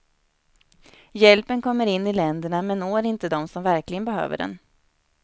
Hjälpen kommer in i länderna men når inte dem som verkligen behöver den.